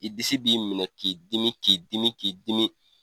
I disi b'i minɛ k'i dimi k'i dimi k'i dimi.